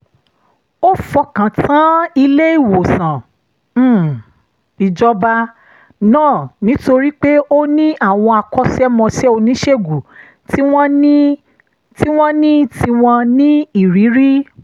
ó fọkàn tán ilé-ìwòsàn um ìjọba náà nítorí pé ó ní àwọn akọ́ṣẹ́mọṣẹ́ oníṣègùn tí wọ́n ní tí wọ́n ní ìrírí